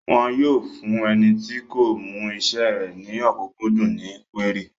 Wọn yóò fún ẹni tí kò mú isẹ́ rẹ̀ ní ọ̀kúnkúndùn ní kúérì